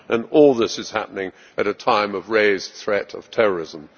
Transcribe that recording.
All this is happening at a time of raised threats of terrorism.